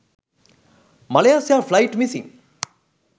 malaysia flight missing